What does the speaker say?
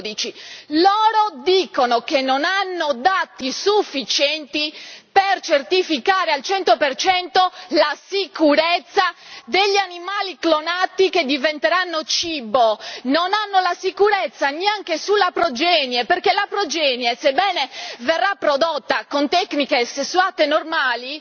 2012? Loro dicono che non hanno dati sufficienti per certificare al 100 la sicurezza degli animali clonati che diventeranno cibo, non hanno la sicurezza neanche sulla progenie, perché la progenie, sebbene verrà prodotta con tecniche sessuate e normali